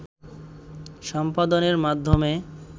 সম্পাদনের মাধ্যমে